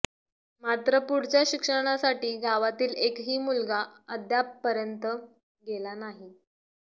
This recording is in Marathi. मात्र पुढच्या शिक्षणासाठी गावातील एकही मुलगा अद्यापर्यंत गेला नाही